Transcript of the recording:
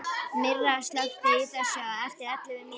Myrra, slökktu á þessu eftir ellefu mínútur.